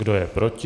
Kdo je proti?